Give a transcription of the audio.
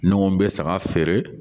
N ko n bɛ saga feere